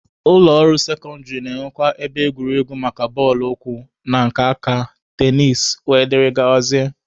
Ụlọ akwụkwọ sekọndịrị na-enwekwa ebe egwuregwu maka bọọlụ ụkwụ na nke aka, tenisi, wdg.